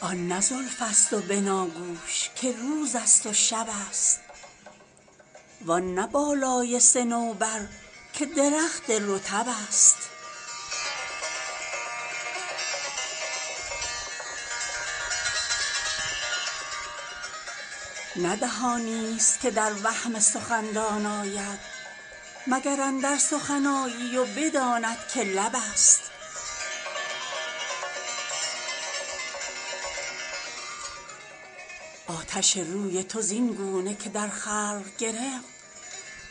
آن نه زلف است و بناگوش که روز است و شب است وآن نه بالای صنوبر که درخت رطب است نه دهانی است که در وهم سخندان آید مگر اندر سخن آیی و بداند که لب است آتش روی تو زین گونه که در خلق گرفت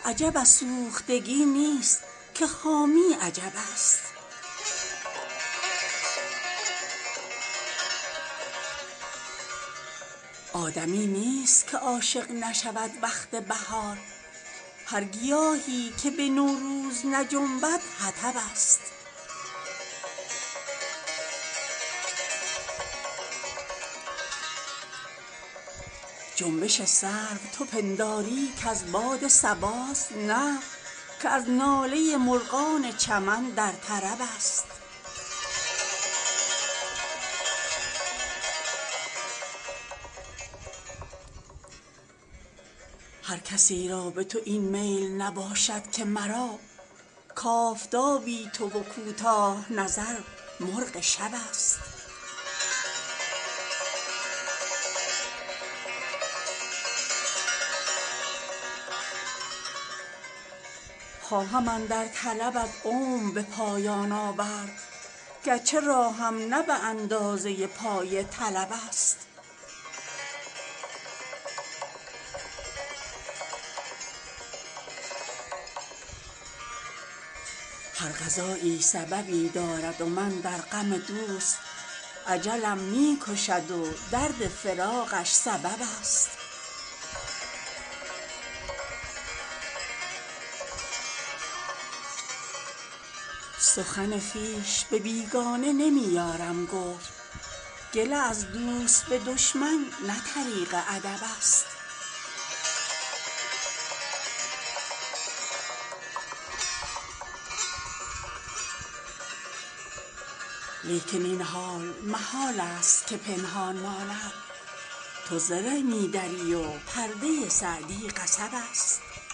عجب از سوختگی نیست که خامی عجب است آدمی نیست که عاشق نشود وقت بهار هر گیاهی که به نوروز نجنبد حطب است جنبش سرو تو پنداری که از باد صباست نه که از ناله مرغان چمن در طرب است هر کسی را به تو این میل نباشد که مرا کآفتابی تو و کوتاه نظر مرغ شب است خواهم اندر طلبت عمر به پایان آورد گرچه راهم نه به اندازه پای طلب است هر قضایی سببی دارد و من در غم دوست اجلم می کشد و درد فراقش سبب است سخن خویش به بیگانه نمی یارم گفت گله از دوست به دشمن نه طریق ادب است لیکن این حال محال است که پنهان ماند تو زره می دری و پرده سعدی قصب است